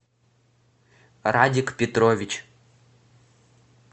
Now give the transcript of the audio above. радик петрович